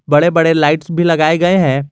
बड़े बड़े लाइट्स भी लगाए गए हैं।